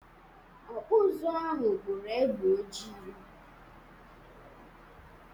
Ọkpụ ụzụ ahụ kpụrụ egbe ojii.